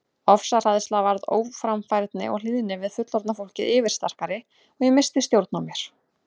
Ofsahræðsla varð óframfærni og hlýðni við fullorðna fólkið yfirsterkari og ég missti stjórn á mér.